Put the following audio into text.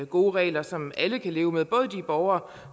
gode regler som alle kan leve med både de borgere